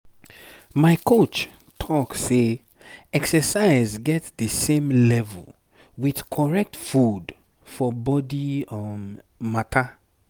my coach talk say exercise get the same level with correct food for body matter.